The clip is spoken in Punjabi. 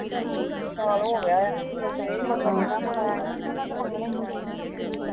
ਸਾਲ ਹੋ ਗਿਆ। ਜਿਨ੍ਹਾਂ ਕੋਲੋਂ ਲੇ ਉਹਨਾਂ ਨੇ ਤਾਂ ਮੰਗਣੇ ਈ ਆ।